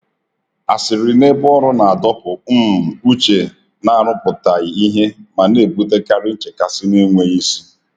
Asịrị n’ebe ọrụ na-adọpụ um uche n’arụpụtaghị ihe ma na-ebutekarị nchekasị na-enweghị isi.